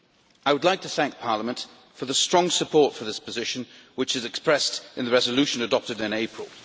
I would like to thank Parliament for the strong support for this position which is expressed in the resolution adopted in April.